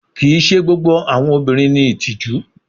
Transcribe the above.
Kii ṣe gbogbo awọn obinrin ni itiju